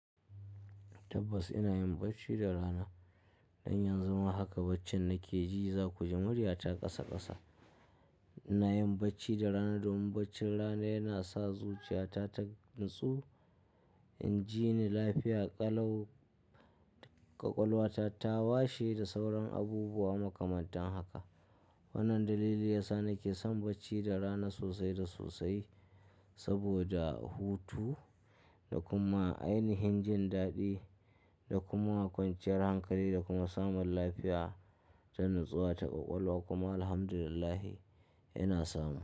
Tabbas ina yin bacci da rana. Don yanzu ma haka baccin nake ji za ku ji murya ta ƙasa ƙasa. Ina yin bacci da rana domin baccin rana yana sa zuciya ta ta natsu, inji ni lafiya, ƙalau ƙwaƙwalwa ta, ta washe da sauran abubuwa makamantan haka. Wannan dalili yasa nake son bacci da rana sosai da sosai saboda hutu da kuma ainihin jin daɗi da kuma kwanciyar hankali da kuma samun lafiya ta natsuwa ta ƙwaƙwalwa kuma Alhamdulillahi yana samu.